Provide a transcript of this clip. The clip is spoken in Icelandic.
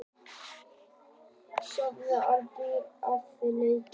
Á síðasta tímabili lék hann ellefu leiki.